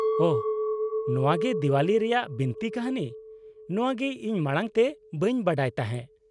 -ᱳᱦᱚ, ᱱᱚᱶᱟᱜᱮ ᱫᱮᱣᱟᱞᱤ ᱨᱮᱭᱟᱜ ᱵᱤᱱᱛᱤ ᱠᱟᱹᱱᱦᱤ ᱾ ᱱᱚᱶᱟ ᱜᱮ ᱤᱧ ᱢᱟᱲᱟᱝ ᱛᱮ ᱵᱟᱹᱧ ᱵᱟᱰᱟᱭ ᱛᱟᱦᱮᱸ ᱾